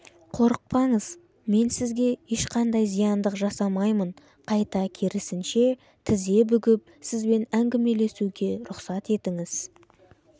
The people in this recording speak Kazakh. қорықпаңыз мен сізге ешқандай зияндық жасамаймын қайта керісінше тізе бүгіп сізбен әңгімелесуге рұқсат етіңіз